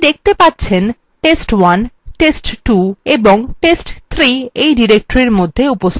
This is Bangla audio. আপনি দেখতে পাচ্ছেন test1 test2 এবং test3 এই directory মধ্যে উপস্থিত আছে